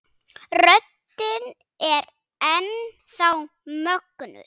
Röddin er enn þá mögnuð.